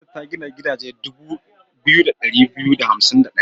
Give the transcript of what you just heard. Gwamnati ta gina gidaje dubu biyu da ɗari biyu da hansim da ɗaya.